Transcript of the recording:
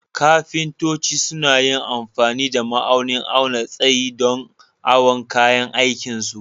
Ƙafintoci suna yin amfani da ma'aunin auna sayi don awon kayan aikin su.